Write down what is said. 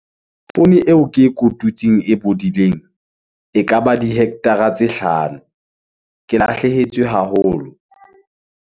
Poone eo ke e kotutseng e bodileng, ekaba di-hectare-a tse hlano. Ke lahlehetswe haholo.